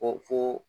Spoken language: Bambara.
Ko fo